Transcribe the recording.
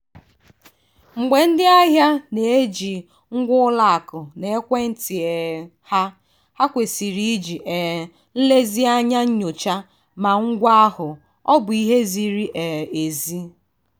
mgbe ndị ahịa na-eji ngwa ụlọakụ na ekwentị um ha ha kwesịrị iji um nlezianya nyochaa ma ngwa ahụ ọbụ ihe ziri um ezi.